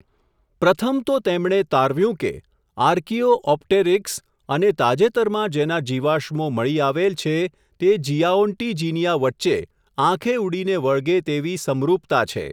પ્રથમ તો તેમણે તારવ્યું કે, આર્કીઓ ઓપટેરીક્સ અને તાજેતરમાં જેના જીવાશ્મો મળી આવેલ છે, તે ઝીઆઓન્ટીજિનિઆ વચ્ચે, આંખે ઊડીને વળગે તેવી સમરુપતા છે.